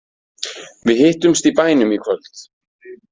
Við hittumst í bænum í kvöld.